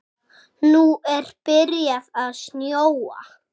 Nú er byrjað að snjóa.